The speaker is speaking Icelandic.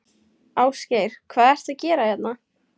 Ásgeir: Hvað ertu að gera hérna?